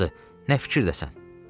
Amandır, nə fikirdəsən?